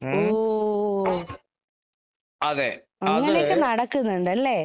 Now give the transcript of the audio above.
ഓ. അങ്ങനെയൊക്കെ നടക്കുന്നുണ്ടല്ലേ?